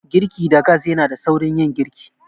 Girki da gas yanada saurin yin girki.